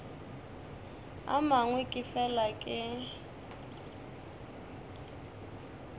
a mangwe ke fela ke